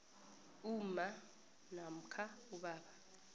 umma namkha ubaba